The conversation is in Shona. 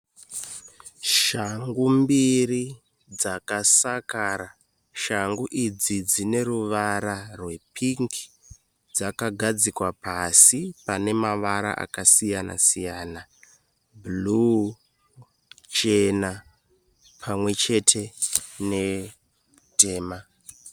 Shangu mbiri dzakasakara, shangu idzi dzine ruvara rwepingi dzakagadzikwa pasi pane mavara akasiyana siyana bhuruu, chena pamwe chete netema.